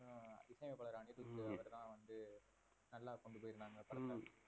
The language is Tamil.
அப்ரம் ஹம்